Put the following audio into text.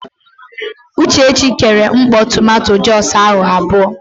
Uchechi kere mkpọ tomanto jọs ahụ abụọ.